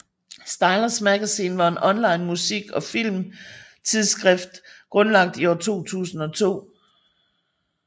Stylus Magazine var en online musik og film tidsskrift grundlagt i år 2002